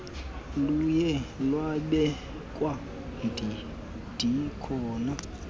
luye lwabekwa ndikhona